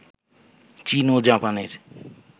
চীন ও জাপানের